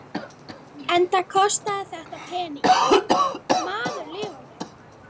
Enda kostaði þetta peninginn, maður lifandi!